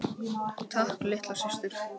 Takk litla systir.